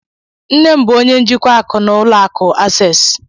Nne m bụ ónyé njikwa akụ na ụlọ akụ access